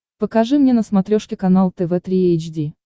покажи мне на смотрешке канал тв три эйч ди